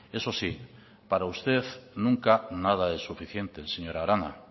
eso sí para usted nunca nada es suficiente señora arana